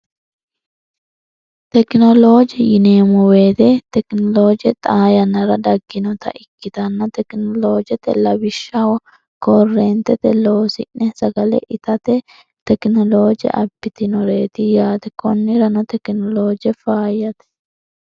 Tekinolooje yineemmo woyte tekinolooje xaa yannara dagginoota ikkitanna tekinoloojete lawishshaho koreentete loosine'ne itate tekinolooje abbitinorreeti yaate. konnirano tekinolooje faayyate